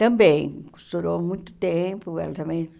Também costurou muito tempo, ela também